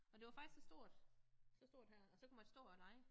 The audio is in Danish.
Og det var faktisk så stort så stort her og så kunne man stå og lege